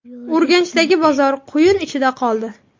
Urganchdagi bozor quyun ichida qoldi.